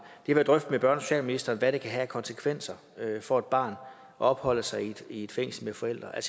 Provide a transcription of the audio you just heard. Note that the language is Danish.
jeg vil drøfte med børne og socialministeren hvad det kan have af konsekvenser for et barn at opholde sig i et fængsel med forældre jeg